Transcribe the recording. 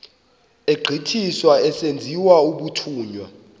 egqithiswa esenziwa umthunywa